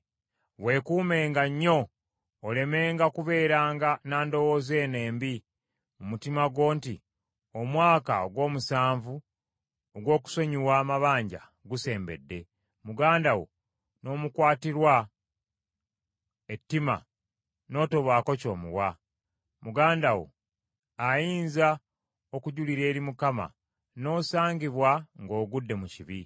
Weekuumenga nnyo olemenga kubeeranga na ndowooza eno embi mu mutima gwo nti, “Omwaka ogw’omusanvu ogw’okusonyiwa amabanja gusembedde,” muganda wo n’omukwatirwa ettima n’otobaako ky’omuwa. Muganda wo ayinza okujulira eri Mukama n’osangibwanga ng’ogudde mu kibi.